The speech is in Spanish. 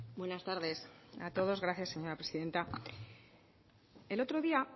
buenas tardes a todos gracias señora presidenta el otro día